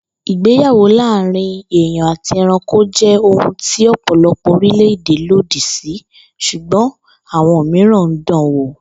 Ìgbéyàwó láàárín èèyàn àti e̩ranko jé̩ ohun tí ò̩pò̩lo̩pò̩ orílè̩-èdè lòdì sí s̩ùgbó̩n àwo̩n mìíràn ń danwò